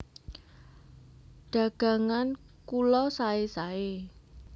Dagangan kula saé saé